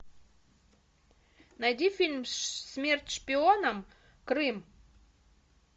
найди фильм смерть шпионам крым